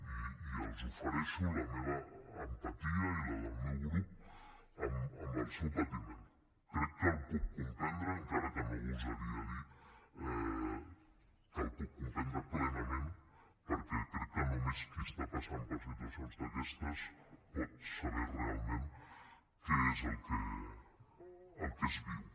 i els ofereixo la meva empatia i la del meu grup amb el seu patiment crec que el puc comprendre encara que no gosaria dir que el puc comprendre plenament perquè crec que només qui està passant per situacions d’aquestes pot saber realment què és el que es viu